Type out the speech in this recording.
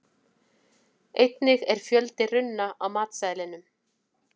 Einnig er fjöldi runna á matseðlinum.